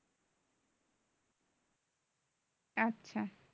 আচ্ছা